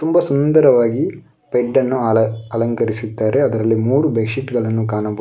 ತುಂಬಾ ಸುಂದರವಾಗಿ ಬೆಡ್ ಅನ್ನು ಅಲ ಅಲಂಕರಿಸಿದ್ದಾರೆ ಅಲ್ಲಿ ಮೂರು ಬೆಡ್ ಶೀಟ್ ಗಳನ್ನು ಕಾಣಬಹುದು.